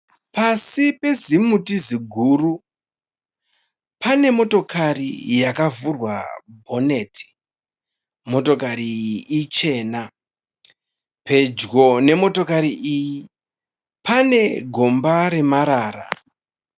Pasi pezimuti ziguru pane motokari yakavhurwa bhoneti. Motokari iyi ichena. Pedyo nemotokari iyi pane gomba remarara.